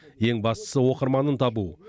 ең бастысы оқырманын табу